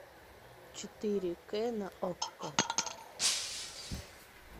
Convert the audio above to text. четыре к на окко